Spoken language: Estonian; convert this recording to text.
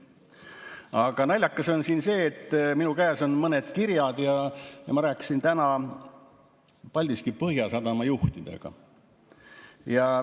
Aga naljakas on see, et minu käes on mõned kirjad ja ma rääkisin täna Paldiski Põhjasadama juhtidega.